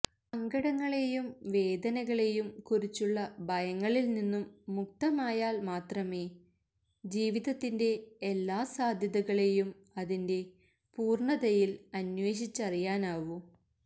സങ്കടങ്ങളേയും വേദനകളേയും കുറിച്ചുള്ള ഭയങ്ങളില്നിന്നും മുക്തമായാല് മാത്രമേ ജീവിതത്തിന്റെ എല്ലാ സാദ്ധ്യതകളേയും അതിന്റെ പൂര്ണതയില് അന്വേഷിച്ചറിയാനാവൂ